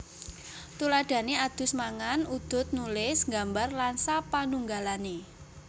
Tuladhané adus mangan udud nulis nggambar lan sapanunggalané